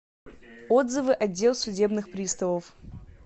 отзывы отдел судебных приставов